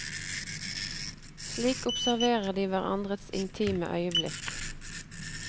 Slik observerer de hverandres intime øyeblikk.